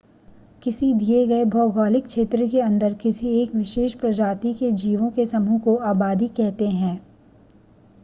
किसी दिए गए भौगोलिक क्षेत्र के अंदर किसी एक विशेष प्रजाति के जीवों के समूह को आबादी कहते है